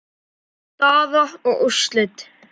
Staða og úrslit.